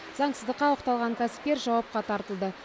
заңсыздыққа оқталған кәсіпкер жауапқа тартылды